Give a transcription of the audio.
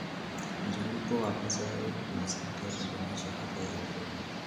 Mzunguko wa mazao unasaidia kudumisha afya ya udongo.